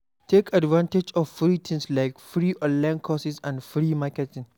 Take advantage of free things like, free online course and free marketing